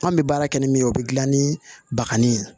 An bɛ baara kɛ ni min ye o bɛ dilan ni bagani ye